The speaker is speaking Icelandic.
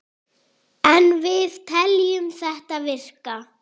En við teljum þetta virka.